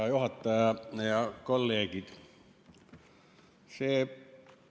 Hea juhataja ja kolleegid!